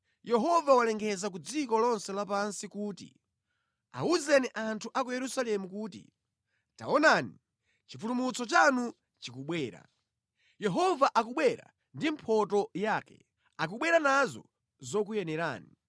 Yehova walengeza ku dziko lonse lapansi kuti, Awuzeni anthu a ku Yerusalemu kuti, “Taonani, chipulumutso chanu chikubwera; Yehova akubwera ndi mphotho yake akubwera nazo zokuyenerani.”